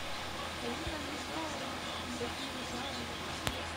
ирина михайловна бекмурзаева